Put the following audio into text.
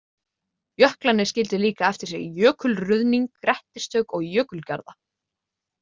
Jöklarnir skildu líka eftir sig jökulruðning, grettistök og jökulgarða.